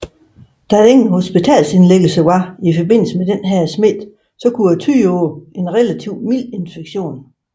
Da der ingen hospitalsindlæggelser var i forbindelse med denne smitte kunne det tyde på en relativ mild infektion